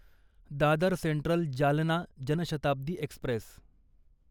Dadar central Jalna Janshatabdi Express